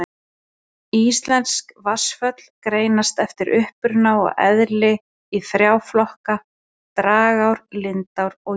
Íslensk vatnsföll greinast eftir uppruna og eðli í þrjá flokka: dragár, lindár og jökulár.